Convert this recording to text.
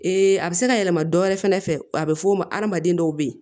a bɛ se ka yɛlɛma dɔ wɛrɛ fɛnɛ fɛ a bɛ fɔ o ma hadamaden dɔw bɛ yen